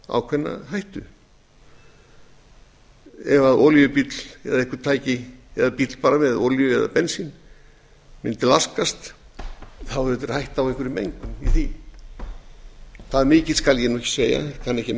ákveðna hættu ef olíubíll eða eitthvert tæki eða bíll með olíu eða bensín mundi laskast þá er auðvitað hætta á einhverri mengun í því hve mikil skal ég ekki segja ég kann